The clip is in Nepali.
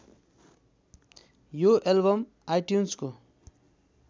यो एल्बम आइट्युन्सको